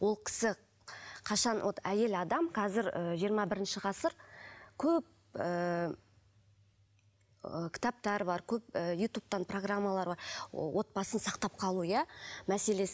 ол кісі қашан вот әйел адам қазір ыыы жиырма бірінші ғасыр көп ыыы кітаптар бар көп ы ютубтан программалар бар отбасын сақтап қалу иә мәселесі